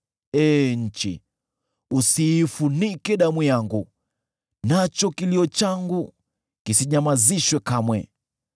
“Ee nchi, usiifunike damu yangu, nacho kilio changu kisinyamazishwe kamwe.